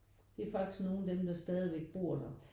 Det er faktisk nogen af dem der stadigvæk bor der